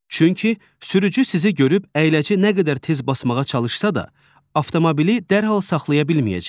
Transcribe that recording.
Çünki sürücü sizi görüb əyləci nə qədər tez basmağa çalışsa da, avtomobili dərhal saxlaya bilməyəcək.